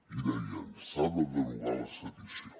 i deien s’ha de derogar la sedició